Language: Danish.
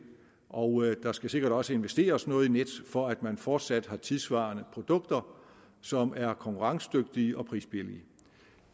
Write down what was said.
og der skal sikkert også investeres noget i nets for at man fortsat har tidssvarende produkter som er konkurrencedygtige og prisbillige